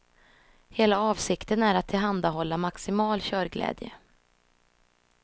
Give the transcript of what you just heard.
Hela avsikten är att tillhandahålla maximal körglädje.